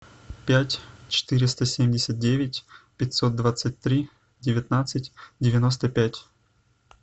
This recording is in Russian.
пять четыреста семьдесят девять пятьсот двадцать три девятнадцать девяносто пять